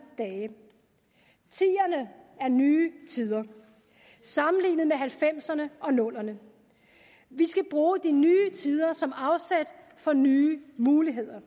dage tierne er nye tider sammenlignet med nitten halvfemserne og nullerne vi skal bruge de nye tider som afsæt for nye muligheder